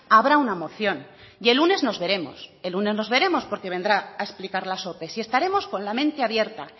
habrá una moción y el lunes nos veremos el lunes nos veremos porque vendrá a explicar las ope y estaremos con la mente abierta